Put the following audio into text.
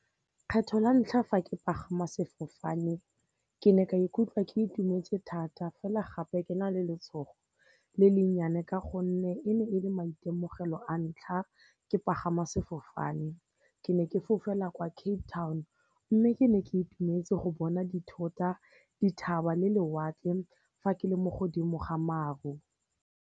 Kgetlho la ntlha fa ke pagama sefofane, ke ne ka ikutlwa ke itumetse thata fela gape ke na le letshogo le le nnyane ka gonne e ne e le maitemogelo a ntlha ke pagama sefofane ke ne ke fofela kwa Cape Town mme ke ne ke itumetse go bona dithota, dithaba le lewatle fa ke le mo godimo ga maru.